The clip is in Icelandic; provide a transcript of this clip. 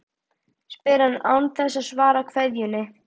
spyr hann, án þess að svara kveðjunni.